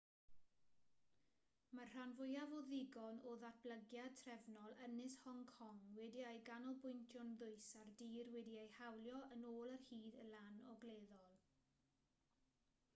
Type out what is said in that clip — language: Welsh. mae'r rhan fwyaf o ddigon o ddatblygiad trefol ynys hong kong wedi'i ganolbwyntio'n ddwys ar dir wedi'i hawlio yn ôl ar hyd y lan ogleddol